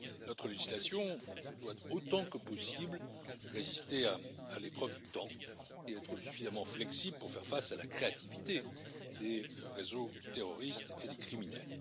Notre législation doit, autant que possible, résister à l'épreuve du temps et être suffisamment flexible pour faire face à la créativité des réseaux terroristes et des criminels.